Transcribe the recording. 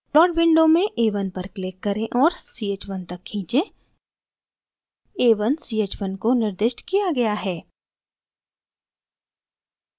plot window में a1 पर click करें और ch1 तक खींचें